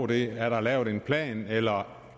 det er der lavet en plan eller